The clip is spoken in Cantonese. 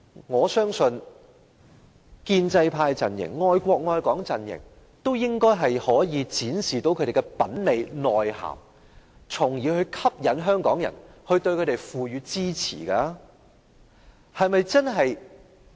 我相信建制派陣營、愛國愛港陣營應也可以展示他們的品味、內涵，從而吸引香港人對他們給予支持。